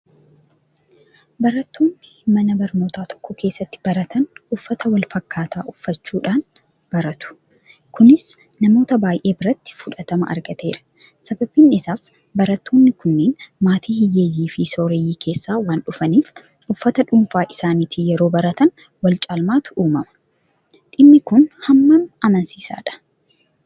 Barattoonni mana barnootaa tokko keessatti baratan uffata walfakkaataa uffachuudhaan bararu. Kunis namoota baay'ee biratti fudhatama argateera. Sababni isaas barattoonni kunneen maatii hiyyeeyyiifi sooreyyii keessaa waandhufaniif; Uffata dhuunfaa isaaniitiin yeroo baratan walcaalmaatu uumama. Dhimmi kun hammam amansiisaadha?